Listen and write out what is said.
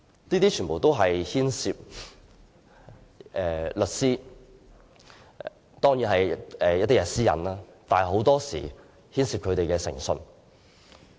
這一切也牽涉律師的私隱，但很多時候亦牽涉他們的誠信。